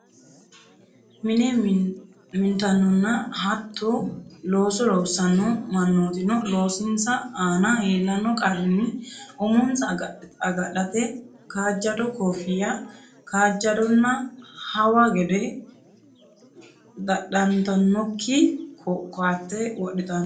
Mine mintannonna hattoo looso loossanno mannootino loosinsa aana iillanno qarrinni umonsa agadhate kaajjado koffiya, kaajjadonna hawa gede dadhantannokki koatte wodhitanno.